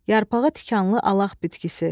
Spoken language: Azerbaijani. Yarpağı tikanlı alaq bitkisi.